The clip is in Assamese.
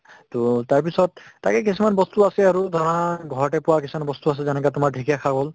to তাৰপিছত তাকে কিছুমান বস্তু আছে আৰু ধৰা ঘৰতে পোৱা কিছুমান বস্তু আছে যেনেকুৱা তোমাৰ ঢেঁকীয়া শাক হ'ল